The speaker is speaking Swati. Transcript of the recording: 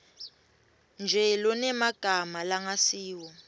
nje lonemagama langasiwo